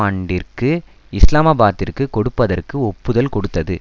ஆண்டிற்கு இஸ்லாமாபாத்திற்குக் கொடுப்பதற்கு ஒப்புதல் கொடுத்தது